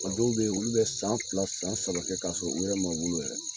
A dɔw be yen olu be san fila san san saba k'a sɔrɔ olu ma wolo yɛrɛ